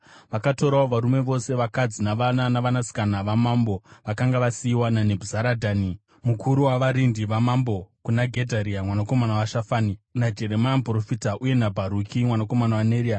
Vakatorawo varume vose, vakadzi navana navanasikana vamambo vakanga vasiyiwa naNebhuzaradhani mukuru wavarindi vamambo kuna Gedharia mwanakomana waShafani, naJeremia muprofita uye naBharuki mwanakomana waNeria.